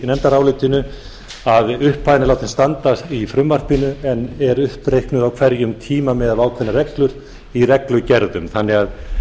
nefndarálitinu að upphæðin er látin standa í frumvarpinu en er uppreiknuð á hverjum tíma með ákveðnar hefur í reglugerðum þannig að